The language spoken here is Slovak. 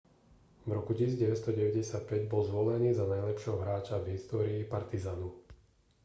v roku 1995 bol zvolený za najlepšieho hráča v histórii partizanu